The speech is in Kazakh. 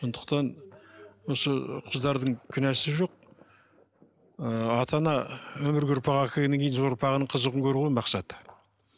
сондықтан осы қыздардың кінәсі жоқ ыыы ата ана өмірге ұрпақ әкелгеннен кейін сол ұрпағының қызығын көру ғой мақсаты